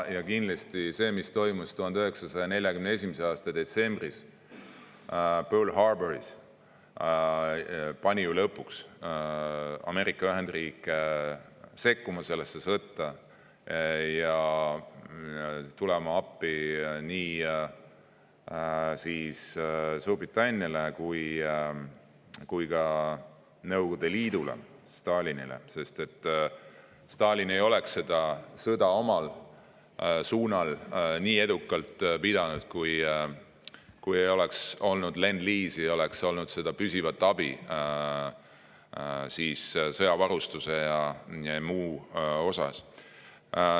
Kindlasti see, mis toimus 1941. aasta detsembris Pearl Harboris, pani ju lõpuks Ameerika Ühendriike sekkuma sellesse sõtta ja tulema appi nii Suurbritanniale kui ka Nõukogude Liidule, Stalinile, sest Stalin ei oleks ise seda sõda nii edukalt pidanud, kui ei oleks olnud lendliisi, püsivat abi sõjavarustuse ja muu mõttes.